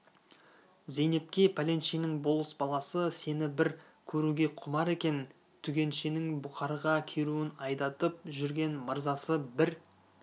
зейнепке пәленшенің болыс баласы сені бір көруге құмар екен түгеншенің бұқарға керуен айдатып жүрген мырзасы бір